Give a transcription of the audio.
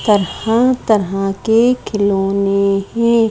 तरह-तरह के खिलोने हैं।